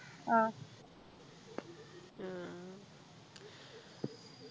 ആഹ്